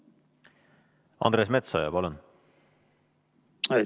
Andres Metsoja, palun!